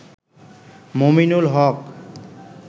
Mominul Haque